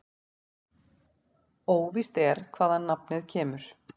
Óvíst er hvaðan nafnið kemur.